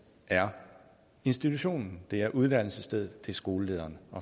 er institutionen det er uddannelsesstedet det er skolelederen